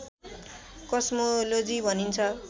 cosmology भनिन्छ